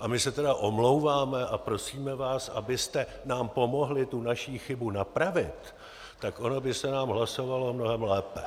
a my se teda omlouváme a prosíme vás, abyste nám pomohli tu naši chybu napravit, tak ono by se nám hlasovalo mnohem lépe.